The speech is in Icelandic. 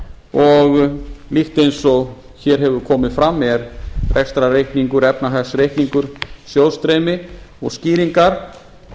og líkt eins og hér hefur komið fram er rekstrarreikningur efnahagsreikningur sjóðsstreymi og skýringar